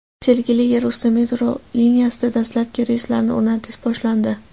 Sergeli yerusti metro liniyasida dastlabki relslarni o‘rnatish boshlandi .